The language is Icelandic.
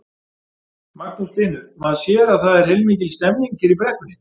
Magnús Hlynur: Maður sér að það er heilmikil stemning hér í brekkunni?